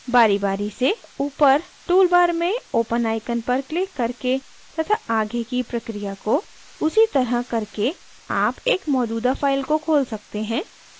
बारीबारी से ऊपर toolbar में open icon पर क्लिक करके तथा आगे की प्रक्रिया को उसी तरह करके आप एक मौजूदा file को खोल सकते हैं